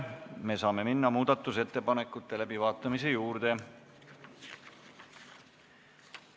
Me saame minna muudatusettepanekute läbivaatamise juurde.